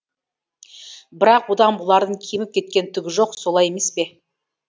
бірақ одан бұлардың кеміп кеткен түгі жоқ солай емес пе